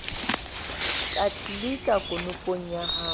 ka tlelika konopong ya ho